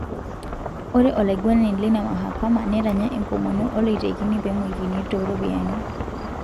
Ore olaiguanani leina mahakama netanya enkomono oloitekini penguikini toropiani.